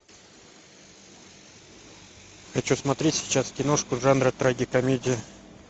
хочу смотреть сейчас киношку жанра трагикомедия